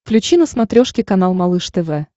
включи на смотрешке канал малыш тв